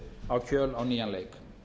á kjöl á nýjan leik